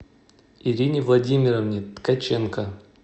ирине владимировне ткаченко